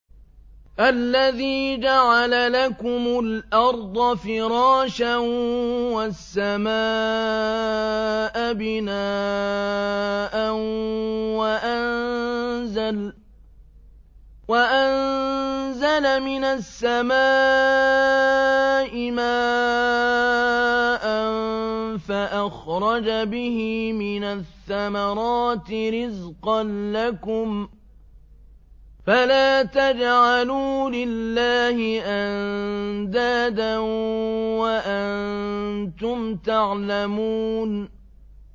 الَّذِي جَعَلَ لَكُمُ الْأَرْضَ فِرَاشًا وَالسَّمَاءَ بِنَاءً وَأَنزَلَ مِنَ السَّمَاءِ مَاءً فَأَخْرَجَ بِهِ مِنَ الثَّمَرَاتِ رِزْقًا لَّكُمْ ۖ فَلَا تَجْعَلُوا لِلَّهِ أَندَادًا وَأَنتُمْ تَعْلَمُونَ